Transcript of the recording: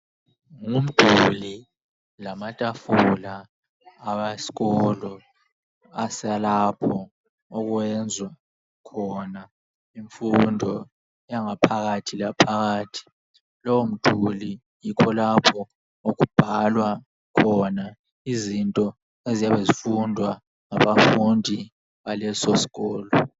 Ngumduli lamatafula awesikolo esalapho okwezwa khona imfundo yaphakathi laphakathi. Lomduli yikho lapho okubhalwa khona izifundo eziyabe zifundwa ngabafundi baleso sikolo.